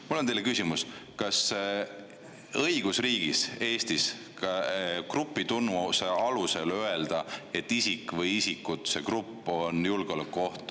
Mul on teile küsimus, kas õigusriigis Eestis on kohane grupitunnuse alusel öelda, et isik või isikud, et see grupp on julgeolekuoht.